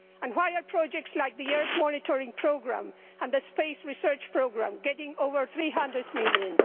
Why are projects like the Earth monitoring programme and the space research programme getting over EUR 300 million?